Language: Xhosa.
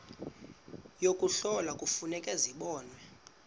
yokuhlola kufuneka zibonwe